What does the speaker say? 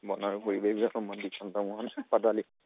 বন আৰু পৰিৱেশ বিভাগৰ মন্ত্ৰী চন্দ্ৰমোহন পাটোৱাৰী।